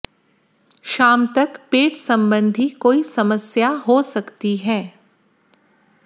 शाम तक पेट संबंधी कोई समस्या हो सकती है